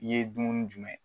N ye dumuni jumɛn